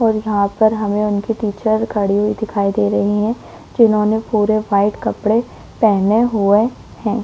और वहां पर हमें नव सरपंच दिखाई दे रहा है जिन्होंने पूरे व्हाइट कपडे पहने हुए हैं।